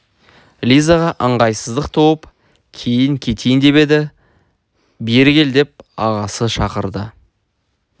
лизаға ыңғайсыздық туып кейін кетейін деп еді бері кел деп ағасы шақырды